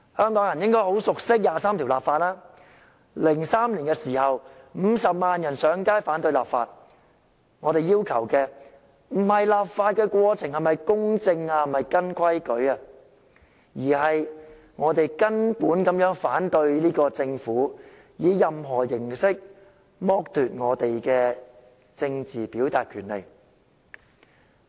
香港人應該很熟悉就第二十三條立法 ，2003 年50萬人上街遊行反對立法，我們要求的不是立法過程是否公正及依照程序進行，而是我們從根本反對政府以任何形式剝奪我們的政治表達權利。